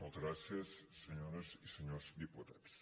moltes gràcies senyores i senyors diputats